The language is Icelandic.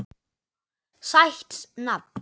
Sætt nafn.